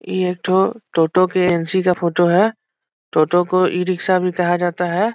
यह तो टोटो के एन सी का फोटो है टोटो को ई रिक्शा भी कहा जाता है ।